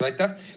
Aitäh!